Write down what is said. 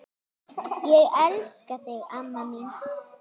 Ég elska þig amma mín.